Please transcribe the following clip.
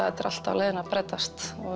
þetta er allt á leiðinni að breytast og